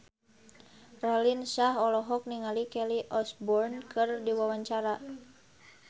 Raline Shah olohok ningali Kelly Osbourne keur diwawancara